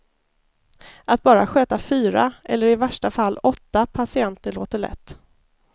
Att bara sköta fyra, eller i värsta fall åtta, patienter låter lätt.